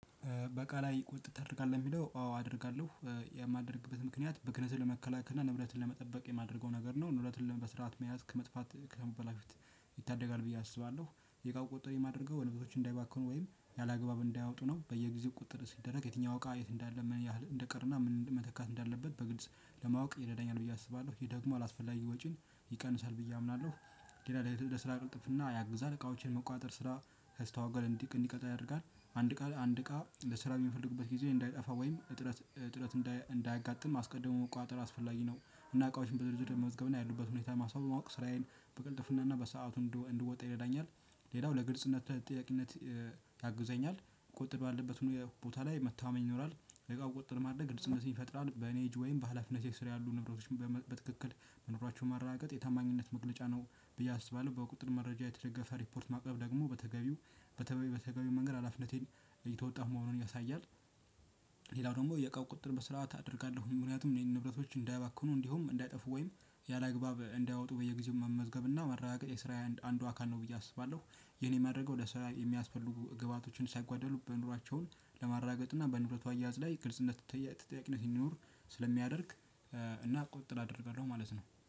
እቃ ላይ ቁጥጥር አለህ ለሚለው ጥያቄ? አዎ አደርጋለሁ የማደርግበት ምክንያት ብክነትን ለመከላከልና ንብረትን ለመጠበቅ የማደርገው ነገር ነው ንብረትን በስርዓት መያዝ ከመጥፍት ከመበላሸት በፊት ይታደጋል ብዬ አስባለሁ። የቃው ቆጠር የማደርገው ወንበሶችን እንዳይባክኑ ወይም ያላግባብ እንዳያወጡ ነው። በየጊዜው ቁጥጥር ሲደረግ የትኛው እቃ የት እንዳለ ምን ያህል እንደቀረና ምን መተካት እንዳለበት በግልጽ ለማወቅ ይረዳኛል ብዬ አስባለሁ ይሄ ደግሞ አላስፈላጊ ወጪን ይቀንሳል ብዬ አምናለሁ። እንዴት? ላይ ልትል ለስራ ቅልጥፍና ያግዛል እቃዎችን መቆጣጠር ስራ ስታወጋ ለንቲቅ እንዲቀጣ ያደርጋል። አንድ ቃል አንድ ቃል ለስራ የሚፈልግበት ጊዜ እንዳይጠፋ ወይም እጥረት እጥረት እንዳያጋጥም አስቀድሞ መቆጣጠር አስፈላጊ ነው። እና እቃዎችን በዝርዝር መዝገብ ነው ያሉበት ሁኔታ ማሰብ ማወቅ ስራዬን በቅልጥፍናና በሰአቱ እንድወጣ ይረዳኛል። ያው ለግልፅነት ለተጠያቂነት ያግዘኛል። ቆጥሮ አለበት ሆኖ የቦታ ላይ መታመን ይኖራል። የቃው ቁጥጥር ማድረግ ግልጽነቴን ይፈጥራል በኔ እጅ ወይም በሃላፍነት የሰራ ያሉ ንብረቶች በትክክል መኖራቸውን ማረጋገጥ የታማኝነት መግለጫ ነው ብዬ አስባለሁ። በቁጥር መረጃ የተደገፈ ሪፖርት ማቅረብ ደግሞ በተገቢው በተባይ በተገቢው መንገድ አላፍነቴን እየተወጣሁ መሆኑን ያሳያል። ደግሞ የቃው ቁጥር በስራት አደርጋለሁ ምክንያቱም የንብረቶች እንዳያባክኑ እንዲሁም እንዳይጠፉ ወይም ያላግባብ እንዳያወጡ በየጊዜው መመዝገብና ማረጋገጥ የስራዬ አንዱ አካል ነው ብዬ አስባለሁ። ይሄኔን የማደርገው ለስራዬ የሚያስፈልጉ ግብአቶችን ሳይጓደሉ በኑሯቸው ለማረጋገጥ እና በንብረቱ እያያዝ ላይ ግልጽነትና እና ተጠያቂነት እንዲኖር ስለሚያደርግ እና ቁጥጥር አደርጋለሁ ማለት ነው